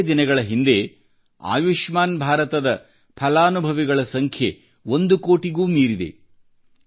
ಕೆಲವೇ ದಿನಗಳ ಹಿಂದೆ ಆಯುಷ್ಮಾನ್ ಭಾರತದ ಫಲಾನುಭವಿಗಳ ಸಂಖ್ಯೆ ಒಂದು ಕೋಟಿಗೂ ಮೀರಿದೆ